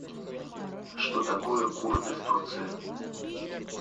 что такое курды в турции